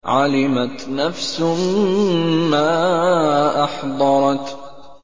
عَلِمَتْ نَفْسٌ مَّا أَحْضَرَتْ